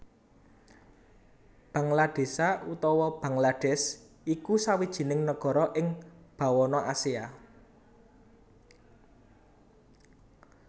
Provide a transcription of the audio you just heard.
Banggaladésa utawa Bangladèsh iku sawijining nagara ing bawana Asia